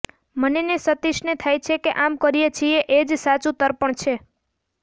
મને ને સતીશને થાય કે આમ કરીએ છીએ એ જ સાચું તર્પણ છે